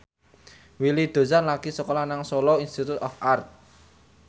Willy Dozan lagi sekolah nang Solo Institute of Art